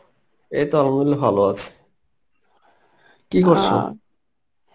এই তো Arbi ভালো আছি. কী করছে৷?